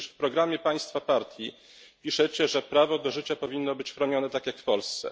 Przecież w programie państwa partii piszecie, że prawo do życia powinno być chronione tak jak w Polsce.